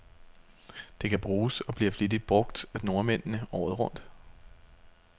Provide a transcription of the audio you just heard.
Det kan bruges, og bliver flittigt brug af nordmændene, året rundt.